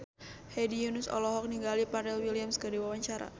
Hedi Yunus olohok ningali Pharrell Williams keur diwawancara